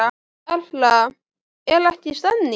Erla, er ekki stemning?